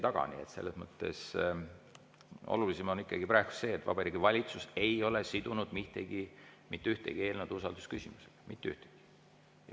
Nii et olulisim on praegu ikkagi see, et Vabariigi Valitsus ei ole sidunud mitte ühtegi eelnõu usaldusküsimusega, mitte ühtegi.